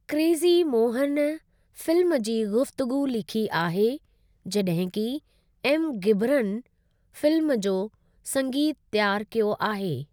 Crazy Mohan film जी गुफ़्तगू लिखी आहे जड॒हिं कि एम घिबरन फिल्म जो संगीतु तैयार कयो आहे।